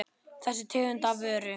Þessa tegund af vöru.